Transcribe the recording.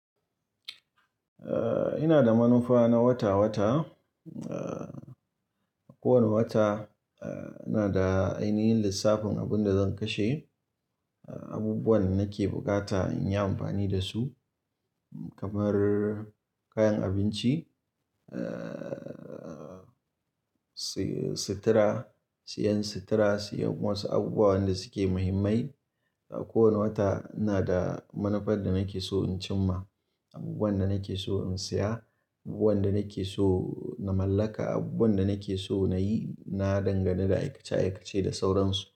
Eh, ina da manufa na wata wata. Kowane wata eh, ina da ainihin lissafin abin da zan kashe, abubuwan nake bukata in yi amfani da su kamar kayan abinci, eh, si-sitira, siyan sitira, siyan wasu abubuwa wanda suke mahimmai. A kowane wata ina da manufar da nake so in cimma, abubuwan da nake so in siya, abubuwan da nake so na mallaka, abubuwan da nake so na yi. Na dangana da aikace aikace da sauransu.